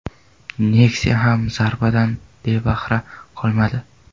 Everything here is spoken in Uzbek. Nexia ham zarbadan bebahra qolmadi.